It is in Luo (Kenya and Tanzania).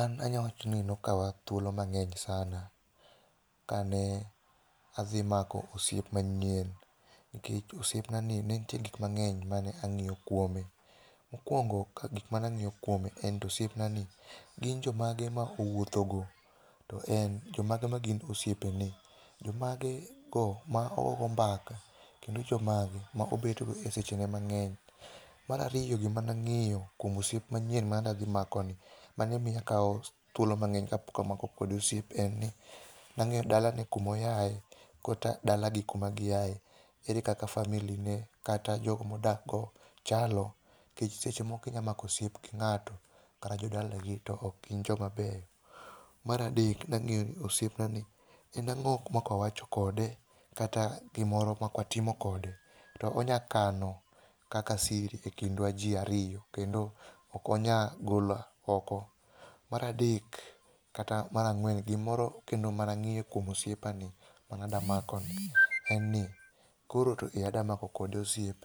An anya wacho ni nokawa thuolo mang'eny [c]sana ka ne adhi mako osiep manyien, nikech osiepnani ne nitie gik mang'eny mane ang'iyo kuome. Mokwongo ka gik manang'iyo kuome en ni osiepnani ,gin jomage ma owuothogo, to en ,jomage ma gin osiepene. Jomage go ma ogogo mbaka. Kendo jomage ma obedogo e sechene mang'eny. Mar ariyo ,gima nang'iyo kuom osiep manyien manadhi makoni, mane miyo akawo thuolo mang'eny kapok amako kode osiep en ni, nang'iyo dalane, kumo aye kata dalagi kuma giaye. Ere kaka family ne kata jogo modak go chalo, nikech seche moko inya mako osiep gi nga'to, to kara jodalagi to ok gin jomabeyo. Mar adek nang'iyo osiepnani, en ang'o makawacho kode, kata gimoro ma kwatimo kode to onya kano kaka siri e kindwa ji ariyo, kendo ok onya golo oko. Mar adek, kata mar ang'wen, gimoro lendo manang'iyo kuom osiepani mayandamakoni, en ni koro to e ada mako kode osiep,